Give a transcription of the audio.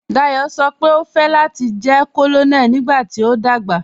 Dayọ sọ́ pe o fẹ́ láti jẹ̀ Kònonèlì nígbàtí o dagba.